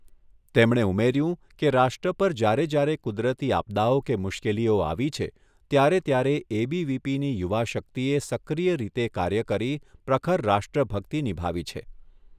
તેમણે ઉમેર્યું કે, રાષ્ટ્ર પર જ્યારે જ્યારે કુદરતી આપદાઓ કે મુશ્કેલીઓ આવી છે, ત્યારે ત્યારે એબીવીપીની યુવા શક્તિએ સક્રિય રીતે કાર્ય કરી પ્રખર રાષ્ટ્ર ભક્તિ નિભાવી છે.